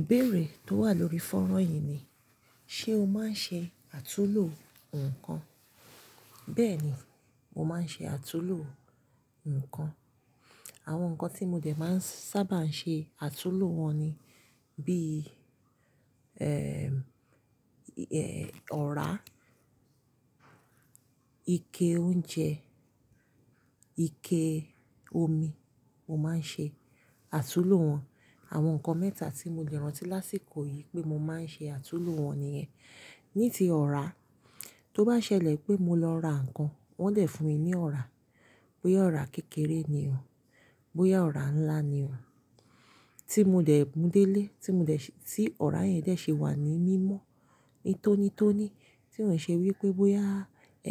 Ìbéèrè tó wà lórí fọ́nrán yìí ni, ṣe o máa ń ṣe àtulò nǹkan? Bẹ́ẹ̀ni, mo máa ń ṣe àtulò nǹkan. Àwọn nǹkan tí mo jẹ̀ máa ń sábà ṣe àtulò wọn ni bí i, ẹ́, ẹ́, ọ̀rá, ike oúnjẹ, ike omi, mo máa ń ṣe àtulò wọn. Àwọn nǹkan mẹ́ta tí mo lẹ̀ rántí lásìkò yìí pé mo máa ń ṣe àtulò wọn nìyẹn. Ní ti ọ̀rá, tó bá ṣẹlẹ̀ pé mo lọ ra nǹkan, wọ́n dẹ̀ fún mi ní ọ̀rá, bóyá ọ̀rá kékeré ni o, bóyá ọ̀rá ńlá ni o, tí mo dẹ̀ mú délé, tí mo dẹ̀ ṣe-- tí ọ̀rá yẹn dẹ̀ ṣe wà ní mímọ́, ní tónítóní, tí ó ṣe wí pé bóyá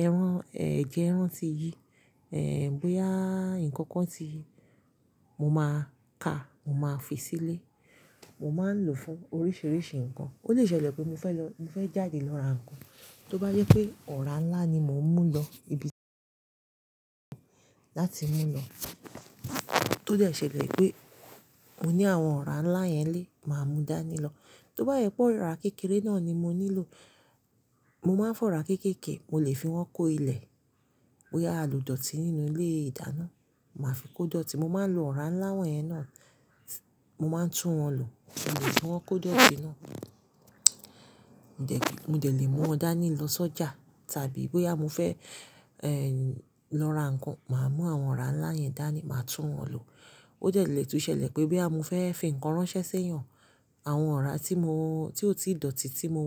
ẹran, ẹ́, jẹ ẹran ti yí, ẹ́, bóyá nǹkan kan ti yí, mo máa ka, mo máa fi sílé, mo máa ń lò fún oríṣiríṣi nǹkan. Ó lè ṣẹlẹ̀ pé mo fẹ́ lọ-- mo fẹ́ jáde lọ ra nǹkan, tó bá yẹ pé ọ̀rá ńlá ni mò ń mú lọ ibi láti mú lọ. Tó dẹ̀ ṣe lè pé mo ní àwọn ọ̀rá ńlá yẹn lé, màá mú dání lọ. Tó bá yẹ pé ọ̀rá kékeré náà ni mo nílò, mo máa ń fọ̀ ọ̀rá kéékèè, mo lè fi wọ́n kó ilẹ̀, bóyá alo dọ̀tí nínú ilé ìdáná, màá fi kó dọ̀tí, mo máa ń lo ọ̀rá ńlá wọ̀nyẹn náà, mo máa ń tún wọn lò. Mo lè fi wọ́n kó dọ̀tí náà, mo dẹ̀ lè mú wọn dání lọ sọ́jà tàbí bóyá mo fẹ́, ẹ́, lọ ra nǹkan, màá mú àwọn ọ̀rá ńlá yẹn dání, màá tún wọn lò. Ó dẹ̀ lè tún ṣẹlẹ̀ pé bí àmo fẹ́ fi nǹkan ránṣẹ́ sẹ́yàn, àwọn ọ̀rá tí mo-- tí ó ti dọ̀tí tí mo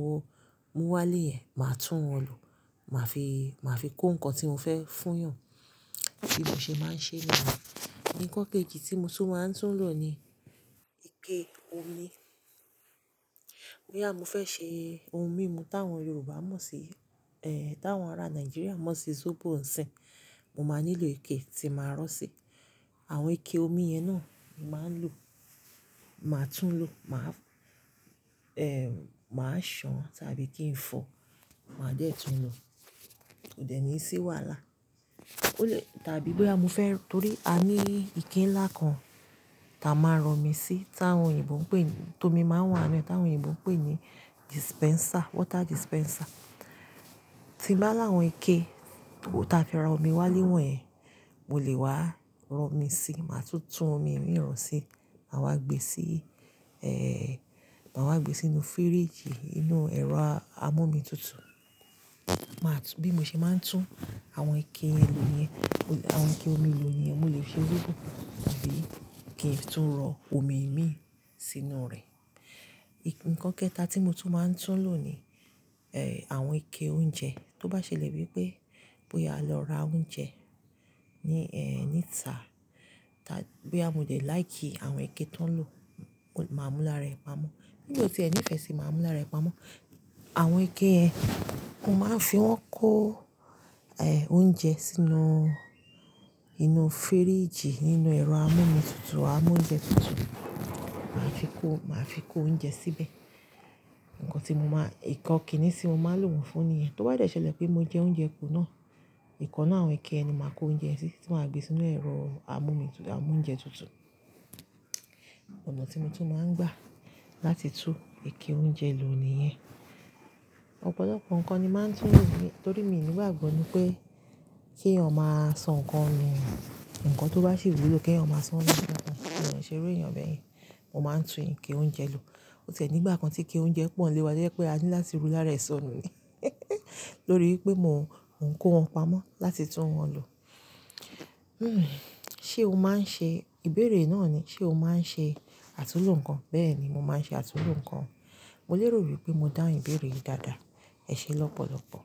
mú wá lé yẹn, màá tún wọn lò. Màá fi, màá fi kó nǹkan tí mo fẹ́ fún yàn. Bí mo ṣe máa ń ṣe náà. Nnkan kejì tí mo tún máa ń tún lò ni ike omi. Bóyá mo fẹ́ ṣe ohun mímu táwọn Yorùbá mọ̀ sí, ẹ́, táwọn ará Nàìjíríà mọ̀ sí Zobo ǹsìn, mo máa nílò ike tí màá rọ́ sí. Àwọn ike omi yẹn náà, màá ń lò. Màá tún lò, màá, ẹ́, màá ṣàn tàbí kí n fọ̀, màá dẹ̀ tún lò. Ó dẹ̀ ní ṣi wàhálà. Ó lè-- tàbí bóyá mo fẹ́-- torí a ní ike ńlá kan táa máa ń rọ omi sí, táwọn òyìnbó ń pè-- tó mi máa ń wá ẹnu, táwọn òyìnbó ń pè ní dispenser, water dispenser. Ti bá láwọn ike, tó ta kíá rọ omi wá léwọ̀n ẹ, mo lè wá rọ omi sí, màá tún tún omi mi rán sí, màá wá gbe sí, ẹ́, màá wá gbe sínú fíríjì, inú ẹ̀rọ amú omi tutù. Màá tú-- bí mo ṣe máa ń tún àwọn ike lu yẹn, àwọn ike omi lu yẹn, mo lè fi ojúgùn tàbí kí n tún rọ omi mi sínú rẹ̀. Nnkan kẹ́ta tí mo tún máa ń tún lò ni, ẹ́, àwọn ike oúnjẹ. Tó bá ṣẹlẹ̀ wí pé bóyá lọ ra oúnjẹ ní, ẹ́, níta, bí àmo dẹ̀ láì kí àwọn ike tó ń lò, màá mú lára ẹ̀ pamọ́. Bí mo ti ẹ́ ní ìfẹ́ sì máa mú lára ẹ̀ pamọ́. Àwọn ike yẹn, mo máa ń fi wọ́n kó, ẹ́, oúnjẹ sínú inú fíríjì, nínú ẹ̀rọ amú omi tutù, amú oúnjẹ tutù. Màá fi kó, màá fi kó oúnjẹ síbẹ̀. Nnkan tí mo máa-- nnkan ki ní ti mo máa ń lò oun fún ni yẹn. Tó bá yẹ tó ṣẹlẹ̀ pé mo jẹ oúnjẹ ku náà, nnkan ninu àwọn ike ẹni máa kó oúnjẹ ẹ sí, tí màá gbé sínú ẹ̀rọ amú omi tutù, amú oúnjẹ tutù. Ọ̀nà tí mo tún máa ń gbà láti tú ike oúnjẹ lu ni yẹn. Ọ̀pọ̀lọpọ̀ nǹkan ni màá ń tún lò-- torí mi ò ní gbàgbọ́ ni pé kí eeyan maa san nǹkan nù. Nnkan tó bá sì wu lọ kí ẹeyan máa sonu ẹ mi ṣe iru èèyàn bẹ́ẹ̀ yẹn. Mo máa ń tún ike oúnjẹ lò. Ó ti e ní ìgbà kan tí ike oúnjẹ pọ̀ nílé wa, to je pé a ní láti rú lára ẹ̀ san nù ni. Lórí pé mò ń kó wọn pamọ́ láti tún wọn lò. Hmm, ṣe o máa ń ṣe-- ìbéèrè náà ni, ṣe o máa ń ṣe àtulò nǹkan? Bẹ́ẹ̀ni, mo máa ń ṣe àtulò nǹkan. Mo lérò wípé mo dá ìbéèrè yìí dáadáa. Ẹ ṣé lọ́pọ̀lọpọ̀.